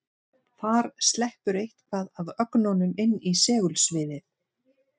Þar sleppur eitthvað af ögnunum inn í segulsviðið.